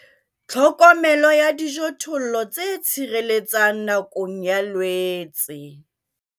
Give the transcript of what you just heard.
Tlhokomelo ya dijothollo tse tshireletsang nakong ya Loetse